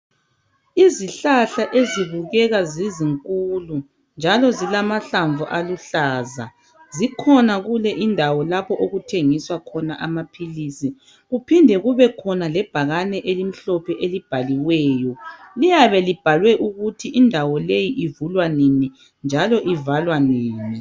Izihlahla ezibukeka zizinkulu njalo zilamahlamvu aluhlaza zikhona kule indawo lapho okuthengiswa khona amaphilizi kuphinde kube khona lebhakane elibhaliweyo. Liyabe libhalwe ukuthi indawo leyi ivulwa nini njalo ivalwa nini.